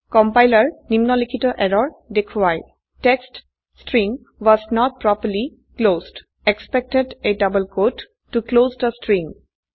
compiler নিম্নলিখিত error দেখোৱায় text string was not properly closed expected a double quote to close the string